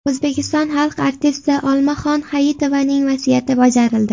O‘zbekiston xalq artisti Olmaxon Hayitovaning vasiyati bajarildi.